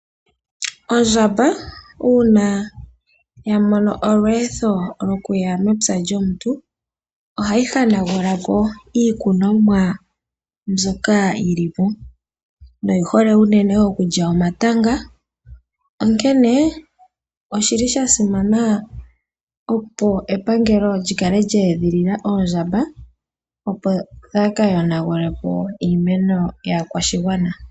Ondjamba una ya mono olweetho lwokuya mepya lyomuntu, ohayi hanagula po iikukomwa mbyoka yilipo, noyi hole unene okulya omatanga. Onkene oshili sha simana opo epangelo lyi kale lya edhilila oondjamba, opo dhaa ka yonagulepo iimeno yaakwashigwana.